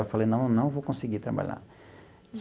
Eu falei, não, não vou conseguir trabalhar.